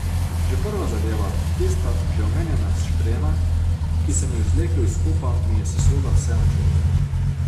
Že prva zadeva, tista že omenjena štrena, ki sem jo izvlekel iz kupa, mi je sesula vse načrte.